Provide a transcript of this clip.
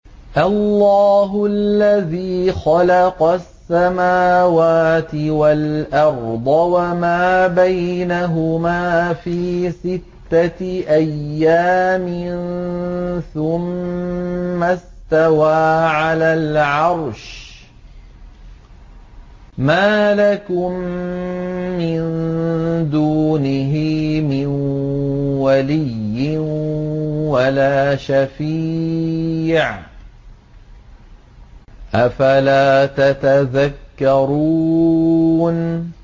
اللَّهُ الَّذِي خَلَقَ السَّمَاوَاتِ وَالْأَرْضَ وَمَا بَيْنَهُمَا فِي سِتَّةِ أَيَّامٍ ثُمَّ اسْتَوَىٰ عَلَى الْعَرْشِ ۖ مَا لَكُم مِّن دُونِهِ مِن وَلِيٍّ وَلَا شَفِيعٍ ۚ أَفَلَا تَتَذَكَّرُونَ